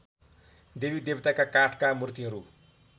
देवीदेवताका काठका मूर्तिहरू